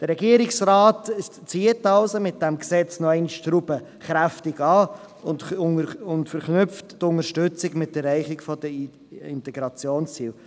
Der Regierungsrat zieht mit diesem Gesetz die Schraube noch einmal kräftig an und verknüpft die Unterstützung mit der Erreichung der Integrationsziele.